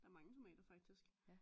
Der er mange tomater faktisk